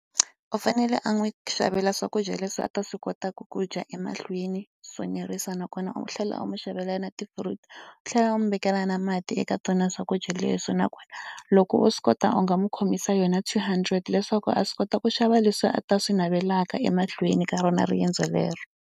U fanele a n'wi xavela swakudya leswi a ta swi kotaka ku dya emahlweni, swo nerisa nakona u tlhela u n'wi xavela na ti-fruits. U tlhela u n'wi vekela na mati eka tona swakudya leswi, nakona loko u swi kota u nga n'wi khomisa yona two hundred leswaku a swi kota ku xava leswi a ta swi navelaka emahlweni ka rona riendzo lero.